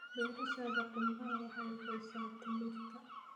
Beerashada qumbaha waxay bixisaa timirta.